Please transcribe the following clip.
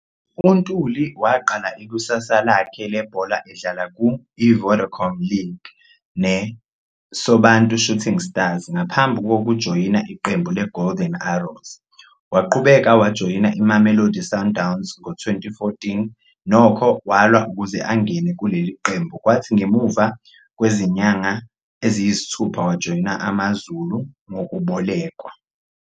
UNtuli waqala ikusasa lakhe lebhola edlala ku-I-Vodacom League ne-Sobantu Shooting Stars ngaphambi kokujoyina iqembu le-Golden Arrows. Waqhubeka wajoyina i-Mamelodi Sundowns ngo-2014, nokho, walwa ukuze angene kuleli qembu kwathi ngemumva kwezinyanga eziyisithupha wajoyina AmaZulu ngokubolekwa.